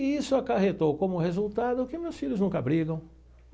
E isso acarretou como resultado que meus filhos nunca brigam.